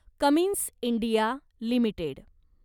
Cummins India limited